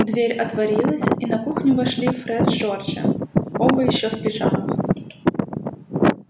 дверь отворилась и на кухню вошли фред с джорджем оба ещё в пижамах